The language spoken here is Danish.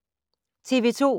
TV 2